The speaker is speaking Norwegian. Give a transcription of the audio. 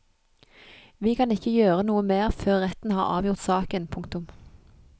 Vi kan ikke gjøre noe mer før retten har avgjort saken. punktum